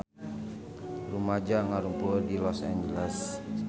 Rumaja ngarumpul di Los Angeles